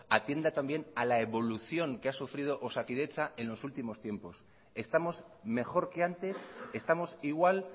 atienda también a la evolución que ha sufrido osakidetza en los últimos tiempos estamos mejor que antes estamos igual